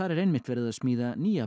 er einmitt verið smíða nýja